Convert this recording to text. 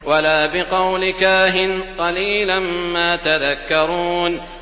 وَلَا بِقَوْلِ كَاهِنٍ ۚ قَلِيلًا مَّا تَذَكَّرُونَ